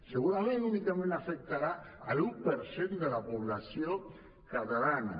segurament únicament afectarà l’un per cent de la població catalana